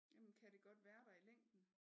Jamen kan det godt være der i længden?